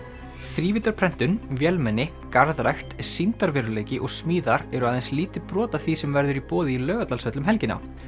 þrívíddarprentun vélmenni garðrækt sýndarveruleiki og smíðar eru aðeins lítið brot af því sem verður í boði í Laugardalshöll um helgina